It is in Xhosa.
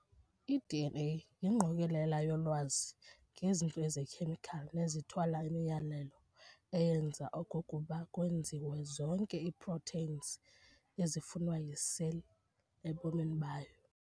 I-DNA yingqokolela yolwazi ngezinto ezikhemical nezithwala imiyalelo eyenza okokuba kwenziwe zonke ii-proteins ezifunwa yi-cell ebomini bayo.